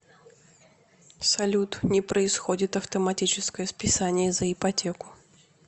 салют не происходит автоматическое списание за ипотеку